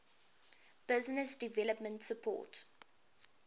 business development support